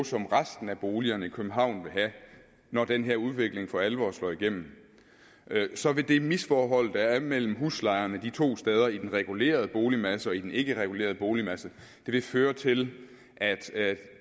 som resten af boligerne i københavn vil have når den her udvikling for alvor slår igennem så vil det misforhold der er mellem huslejerne de to steder i den regulerede boligmasse og i den ikkeregulerede boligmasse føre til at